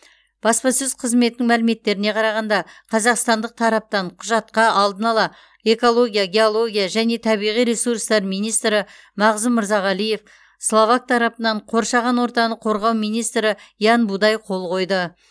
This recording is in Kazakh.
баспасөз қызметінің мәліметтеріне қарағанда қазақстандық тараптан құжатқа алдын ала экология геология және табиғи ресурстар министрі мағзұм мырзағалиев словак тарапынан қоршаған ортаны қорғау министрі ян будай қол қойды